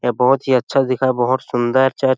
यह बहोत ही अच्छा दिखा बहोत सुंदर चर्च --